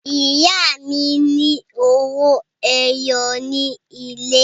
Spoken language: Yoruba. Ìyá mi ní owó ẹyọ nílé.